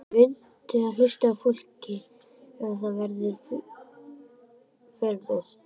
Muntu hlusta á fólkið ef það verður fjölmennt?